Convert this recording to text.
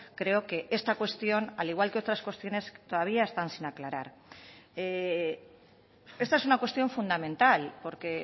creo que esta cuestión al igual que otras cuestiones todavía están sin aclarar esta es una cuestión fundamental porque